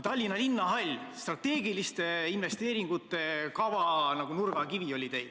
Tallinna linnahall oli teil strateegiliste investeeringute kava nurgakivi.